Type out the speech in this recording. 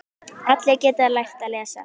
Allir geta lært að lesa.